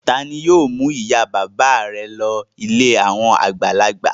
Ta ni yóò mú ìyá-bàbá rẹ lọ ilé àwọn àgbàlagbà?